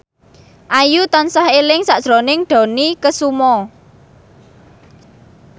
Ayu tansah eling sakjroning Dony Kesuma